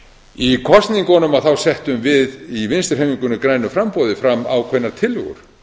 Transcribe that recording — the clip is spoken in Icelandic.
í kosningunum settum við í vinstri hreyfingunni grænu framboði fram ákveðnar tillögur